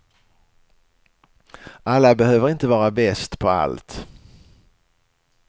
Alla behöver inte vara bäst på allt.